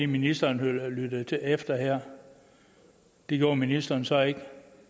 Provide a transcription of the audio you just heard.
ministeren lyttede efter her det gjorde ministeren så ikke